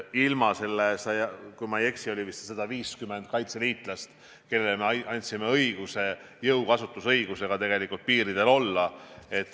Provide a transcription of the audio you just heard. Kui ma ei eksi, neid oli vist 150 kaitseliitlast, kellele me andsime õiguse piiridel olla ja seal ka jõudu kasutada.